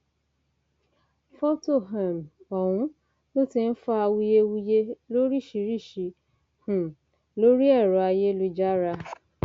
fọtò um ọhún ló ti ń fa awuyewuye lóríṣìíríṣìí um lórí ẹrọ ayélujára